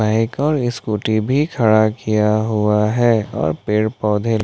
bike और scooty भी खड़ा किया हुआ है और पेड़ पौधे--